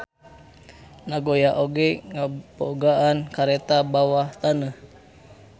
Nagoya oge ngabogaan kareta bawah taneuh.